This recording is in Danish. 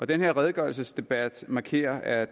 den her redegørelsesdebat markerer at